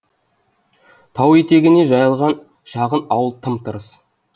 тау етегіне жайылған шағын ауыл тым тырыс